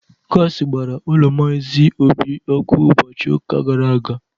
Gaasị gbara ụlọ maazị Obi ọkụ ụbọchị ụka gara aga.